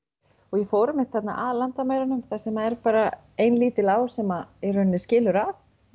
ég fór einmitt þarna að landamærunum þar sem er bara ein lítil á sem í rauninni skilur að